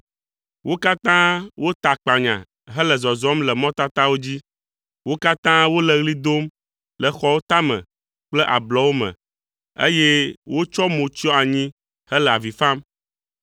Wo katã wota akpanya hele zɔzɔm le mɔtatawo dzi; wo katã wole ɣli dom le xɔwo tame kple ablɔwo me eye wotsɔ mo tsyɔ anyi hele avi fam.